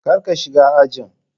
kar ka shiga ajin.